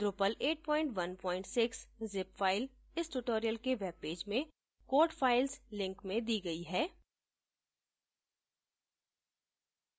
drupal 816 zip file इस tutorial के webpage में code files link में दी गई है